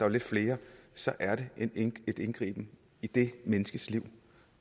er lidt flere så er det en indgriben i det menneskes liv